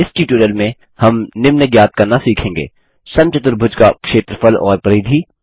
इस ट्यूटोरियल में हम निम्न ज्ञात करना सीखेंगे समचतुर्भुज का क्षेत्रफल और परिधि